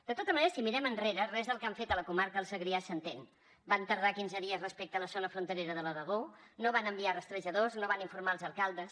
de tota manera si mirem enrere res del que han fet a la comarca del segrià s’entén van tardar quinze dies respecte a la zona fronterera de l’aragó no van enviar hi rastrejadors no van informar els alcaldes